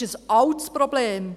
Es ist ein altes Problem.